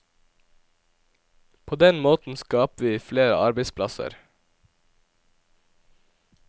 På den måten skaper vi flere arbeidsplasser.